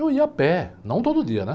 Eu ia a pé, não todo dia né.